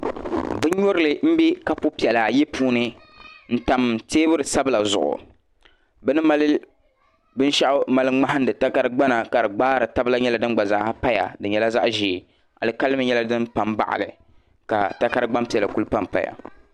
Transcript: bin'nyurili m-be kapu piɛla ayi puuni m-tam teebuli sabila zuɣu bɛ ni mali binshɛɣu mali ŋmahindi takarigbana ka di gbaari taba la nyɛla din gba zaa paya di nyɛla zaɣ'ʒee alikalimi nyɛla din pa m-baɣi li ka takarigbampiɛla kuli pampaya